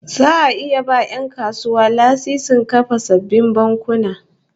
Za'a iya ba 'yan kasuwa lasisin kafa sabbin bankuna